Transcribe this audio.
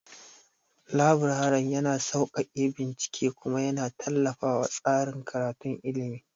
Laburaren yana sauƙaƙe bincike kuma yana tallafawa tsarin karatun ilimi.